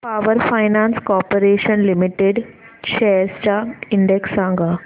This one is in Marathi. power finance corporation limited shares चा इंडेक्स सांगा